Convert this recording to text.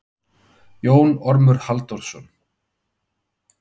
Jón Ormur Halldórsson.